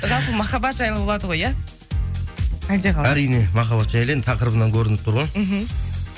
жалпы махаббат жайлы болады ғой иә әлде қалай әрине махаббат жайлы енді тақырыбынан көрініп тұр ғой мхм